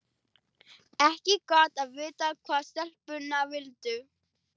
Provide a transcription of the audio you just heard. Ekki gott að vita hvað stelpurnar vildu.